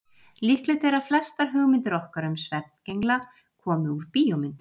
Líklegt er að flestar hugmyndir okkar um svefngengla komi úr bíómyndum.